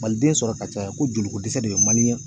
Maliden sɔrɔ ka caya ko joliko dɛsɛ de bɛ